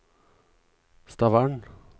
Stavern